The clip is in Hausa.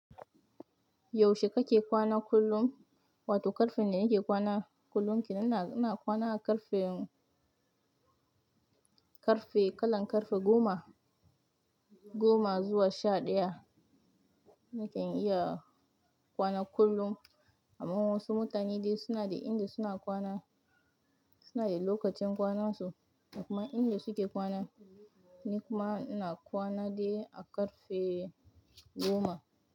Yaushe kake kwana kullum? Wato ƙarfen da nake kwana kullum. Ni ina, ina kwana a ƙarfe, ƙarfe kalan ƙarfe goma, goma zuwa sha ɗaya. Na kan iya kwana kullum. Amma wasu mutane dai suna da inda suna kwana, suna da lokacin kwanansu da kuma inda suke kwana. Ni kuma ina kwana dai a ƙarfe goma.